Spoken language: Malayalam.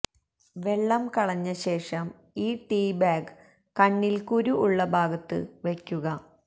വെള്ളം കളഞ്ഞ ശേഷം ഈ ടീ ബാഗ് കണ്ണിൽ കുരു ഉള്ള ഭാഗത്ത് വയ്ക്കുക